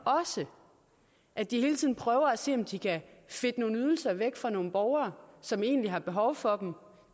også at de hele tiden prøver at se om de kan fedte nogle ydelser væk fra nogle borgere som egentlig har behov for dem